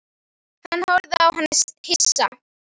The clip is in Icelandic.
Hann horfði á hana hissa.